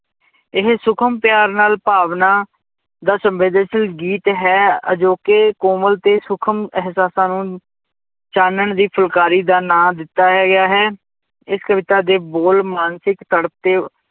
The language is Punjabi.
ਇਹ ਸੂਖਮ ਪਿਆਰ ਨਾਲ ਭਾਵਨਾ ਦਾ ਸੰਵੇਦਨਸ਼ੀਲ ਗੀਤ ਹੈ, ਅਜੋਕੇ ਕੋਮਲ ਤੇ ਸੂਖਮ ਅਹਿਸਾਸਾਂ ਨੂੰ ਚਾਨਣ ਦੀ ਫੁਲਕਾਰੀ ਦਾ ਨਾਂ ਦਿੱਤਾ ਗਿਆ ਹੈ, ਇਸ ਕਵਿਤਾ ਦੇ ਬੋਲ ਮਾਨਸਿਕ ਤੜਪ ਤੇ